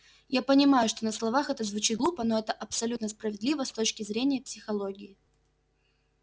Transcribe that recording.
я понимаю что на словах это звучит глупо но это абсолютно справедливо с точки зрения психологии